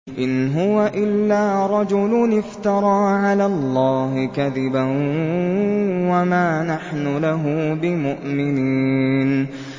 إِنْ هُوَ إِلَّا رَجُلٌ افْتَرَىٰ عَلَى اللَّهِ كَذِبًا وَمَا نَحْنُ لَهُ بِمُؤْمِنِينَ